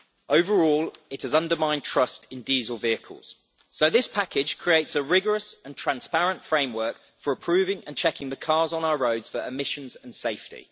Overall, it has undermined trust in diesel vehicles. This package creates a rigorous and transparent framework for approving and checking the cars on our roads for emissions and safety.